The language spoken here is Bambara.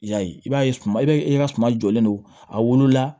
I y'a ye i b'a ye suma i bɛ i ka suma jɔlen don a wolola